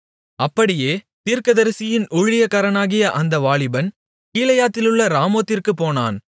அப்படியே தீர்க்கதரிசியின் ஊழியக்காரனாகிய அந்த வாலிபன் கீலேயாத்திலுள்ள ராமோத்திற்குப் போனான்